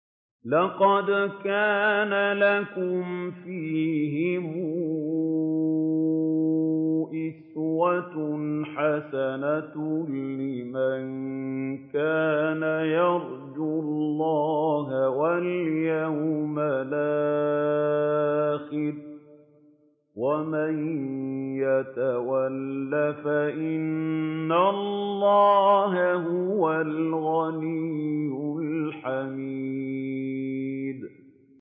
لَقَدْ كَانَ لَكُمْ فِيهِمْ أُسْوَةٌ حَسَنَةٌ لِّمَن كَانَ يَرْجُو اللَّهَ وَالْيَوْمَ الْآخِرَ ۚ وَمَن يَتَوَلَّ فَإِنَّ اللَّهَ هُوَ الْغَنِيُّ الْحَمِيدُ